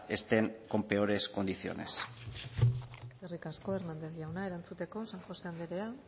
estén con peores condiciones eskerrik asko hernández jauna erantzuteko san josé anderea